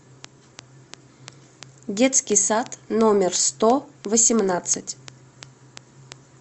детский сад номер сто восемнадцать